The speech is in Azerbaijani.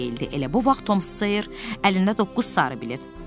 Elə bu vaxt Tom Seer əlində doqquz sarı bilet.